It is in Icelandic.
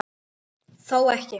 Þó ekki.